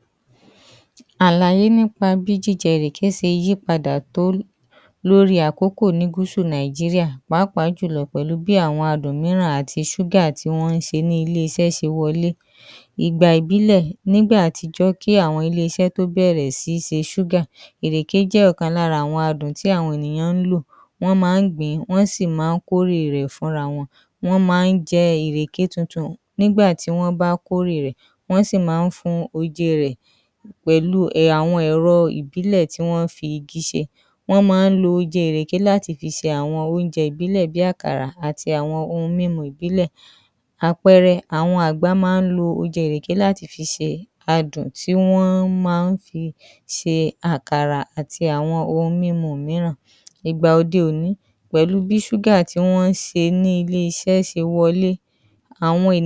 Àlàyé nípa bí wọ́n ṣe ń lo ìrèké láti fi ṣe àwọn ohun mímu ìbílẹ̀ ní Gúsù Nàìjíríà, pẹlù àwọn àpẹẹrẹ tó ṣe kedere. Oje ìrèké: Èyí ni ohun mímu tí ó gbajú gbajà jùlọ ní Gúsù Nàìjíríà, àwọn olùtàjà má a ń fún oje ìrèké titun ní ẹ̀rọ kékeré tí wọ́n má a ń gbé kiri, wọ́n má a ń tà á lẹ́ba òpópónà ní àwọn ọjà àti ní áwọn ìbúdókọ, àwọn ènìyàn má a ń rà á láti fi tu ara lára nígbà mìíràn tí ooru bá mú. Nígbà mìí, wọ́n má a ń fi àwọn èso mìíran bí àlùmọ́nì tàbí ọgbọọgbọ pò ó láti mú kí ó dùn si, àwọn èso wọ̀nyí má a ń fún oje náà ní adùn tó yàtọ. Adùn ìrèké: Wọ́n má a ń se oje ìrèké lórí iná títí yóò fi má a di adùn tí ó nípọn, adùn yìí má a ń ní àwọ̀ dúdú, àwọn ènìyàn má a ń lo adùn yìí láti fi ṣe ohun àwọn ohun mímu mìíràn, bí i àkàrà àti awọn ohun mímu ìbílẹ̀ mìíràn, ó má a ń fún àwọn ohun mímu náà ní adùn tó dára. Àpẹẹrẹ; ní àwọn àgbègbè Yorùbá, wọn má a ń lo adùn ìrèké láti fi ṣe àkàrà tí wọ́n ń pè ní àkàrà òyìnbó. Àwọn ohun mímú Ìbílẹ̀: Ní àwọn àgbègbè kan, wọ́n má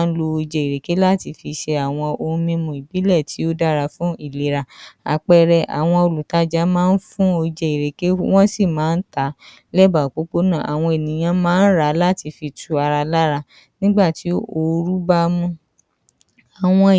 a ń lò ìrèkè láti fi ṣe àwọn ohun mímú ìbílẹ̀ tí ó yàtọ̀ síra, tí wọ́n fi àwọn ewéko ìbílẹ̀ pò ó, fún àpẹ̀ẹrẹ, wọ́n le lo oje ìrèké láti fi ṣe ohun mímú tí wọ́n fi ewéko tí wọ́n ń pè ní ewé àgbálùmọ̀ pò ó, ewé àgbálúmọ̀ má a ń ní àwọn àǹfààní ìlera tí wọ́n gbà pé ó wúlò, àpẹẹrẹ, ní àwọn àgbègbè Ìjẹ̀bú wọ́n má a ń lo oje ìrèké, ewé àgbálùmọ àti àwọn ewéko mìíràn láti fi ṣe ohun mímú tí wọ́n pè ní àgbo. À̀wọn àjọ̀dún: Ní àwọn àjodún bí ọdún ẹ̀yọ̀ ní ìlu Èkò, wọ́n má a ń lo ìrèké láti fi ṣe ohun tí àwọn ohun mímú tí wọ́n má a ń fún àwọn àlejò, èyí fihàn bí ìrèkè ṣe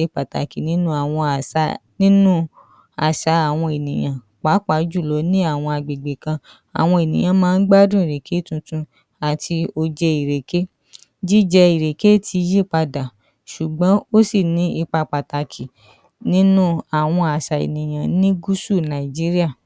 ṣe pàtàkì tó nínú àṣà àwọn ènìyàn. Wọ́n gbà pé ó jẹ́ àmin ìdùnnú àti ayọ̀. Àpẹẹrẹ, nígbà tí wọ́n bá ń ṣe ọdún ẹ̀yọ̀, wọ́n ma a ń lo oje ìrèké, àdùn ìrèké àti àwọn èso mìíràn láti fi ṣe ohun mímu tí wọ́n ń pè ní ẹ̀kọ́. Ìrèké jẹ́ ohun tí wọ́n ń lò lọ́nà tó pọ̀ ní Gúsù Nàìjíríà láti fi ṣe àwọn ohun mímu ìbílẹ̀, ó má a ń fún àwọn ohun mímu náà ní adun tó dára ó sì má a ń mú kí wọn tutù.